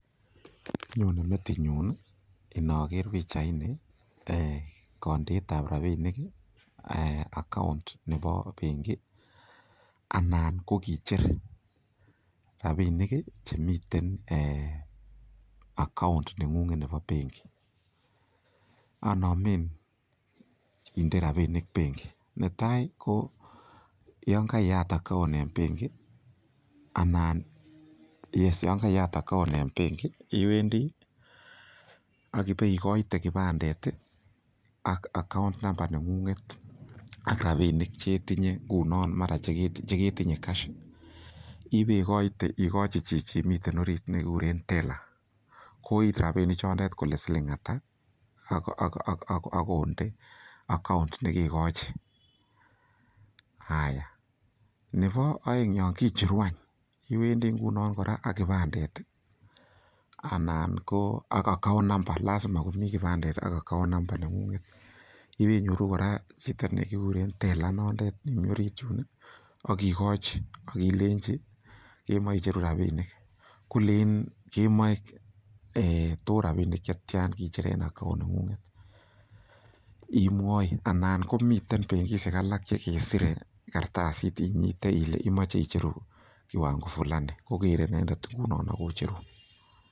Nyone metinyun inoker pichaini kondeet ab rabinik account nebo benki anan ko kicher rabinik chemiten account neng'ung'et nebo benki . Anomen kinde rabinik benki , netai ko yan kaiyat account en benki iwendi ak ibekoite kipandet ak account number neng'ung'et ak rabinik che itinye ngunon, mara che ketinye cash ibeikoite, igochi chichin miii orit ne kikuren teller kooit rabinik chondet kole siling ata ak konde account nekekochi. Nebo oeng yon kicheru any, iwendi ngunon kora ak kipaandet anan ko ak account number lazima komi kipandet ak account number neng'ung'et. Ibeinyoru kora chito ne kiguren teller inondet, nin mi orit yuno, ak igochi ak ilenchi kemoeicheru rabinik. Kolenjin kemoe too rabinik che tyan, imoche icheru en account neng'ung'et. Imwoi, anan komiten benkishek alak che kesire kartasit inyiteile imoche icheru kiwango fulani ko kere inendet ngunon ak kocherun